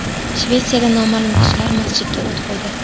Shvetsiyada noma’lum kishilar masjidga o‘t qo‘ydi.